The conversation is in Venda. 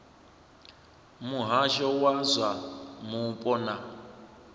muhasho wa zwa mupo na